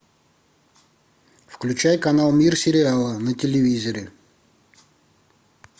включай канал мир сериала на телевизоре